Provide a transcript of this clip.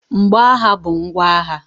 Mgbo agha bụ ngwa agha.